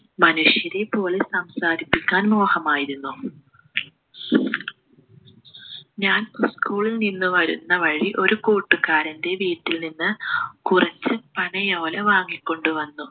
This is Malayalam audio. മനുഷ്യരെപ്പോലെ സംസാരിപ്പിക്കാൻ മോഹമായിരുന്നു ഞാൻ school ൽ നിന്ന് വരുന്ന വഴി ഒരു കൂട്ടുകാരൻ്റെ വീട്ടിൽ നിന്ന് കുറച്ച് പനയോല വാങ്ങിക്കൊണ്ടു വന്നു